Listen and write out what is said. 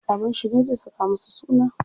Babanshi ne zai saka masa suna.